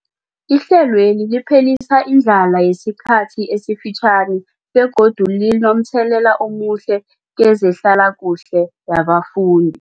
Ihlelweli liphelisa indlala yesikhathi esifitjhani begodu linomthelela omuhle kezehlalakuhle yabafundi.